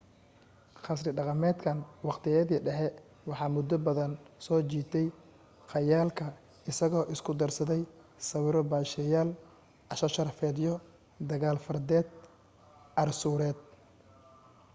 qasri dhaqameedkan waqtiyadii dhexe waxa muddo badan soo jiitay khayaalka isagoo isku darsaday sawiro baasheyaal casho sharafeedyo dagaal fardeed arsuureed